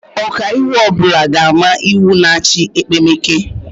Ọkaiwu ọbula ga-ama iwu na-achị ekpemeke